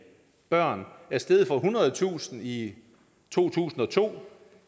børn er steget fra ethundredetusind i to tusind og to